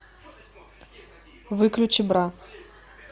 выключи бра